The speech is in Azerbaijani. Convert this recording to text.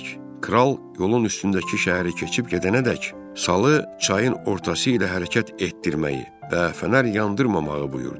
Kral yolun üstündəki şəhəri keçib gedənədək salı çayın ortası ilə hərəkət etdirməyi və fənər yandırmamağı buyurdu.